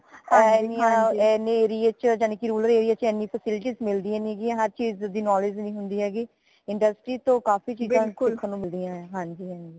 ਏਨੀਆਂ ਏਨੀ ਯਾਨੀਕੀ rural area ਚ ਏਨੀ facilities ਮਿਲਦੀਆਂ ਨੀ ਹੈਗੀਆਂ ਹਰ ਚੀਜ਼ ਦੀ knowledge ਨੀ ਹੁੰਦੀ ਹੇਗੀ industry ਤੋਂ ਕਾਫ਼ੀ ਚੀਜ਼ਾਂ ਸਿੱਖਣ ਨੂ ਮਿਲਿਆ ਹੈਗੀਆਂ ਹਾਂਜੀ ਹਾਂਜੀ